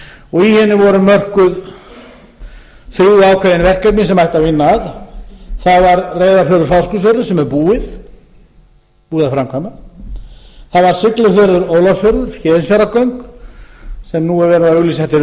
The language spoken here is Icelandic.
og í henni voru mörkuð þrjú ákveðin verkefni sem ætti að vinna að það var reyðarfjörður fáskrúðsfjörður sem er búið að framkvæma það var siglufjörður ólafsfjörður héðinsfjarðargöng sem nú er verið að auglýsa eftir